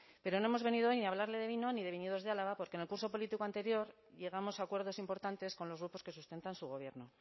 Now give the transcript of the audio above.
pero no hemos venido hoy ni a hablarle de vino ni de viñedos de álava porque en el curso político anterior llegamos a acuerdos importantes con los grupos que sustentan su gobierno